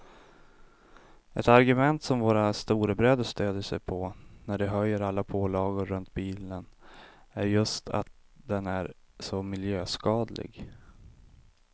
Ett argument som våra storebröder stödjer sig på när de höjer alla pålagor runt bilen är just att den är så miljöskadlig.